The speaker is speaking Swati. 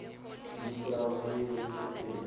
nika abuye esekele